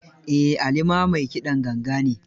Eh, Ali ma mai kiɗan ganga ne.